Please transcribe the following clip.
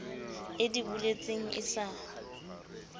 e di boletseng e sa